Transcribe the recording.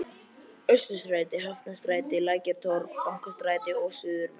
Austurstræti, Hafnarstræti, Lækjartorg, Bankastræti og suðurmeð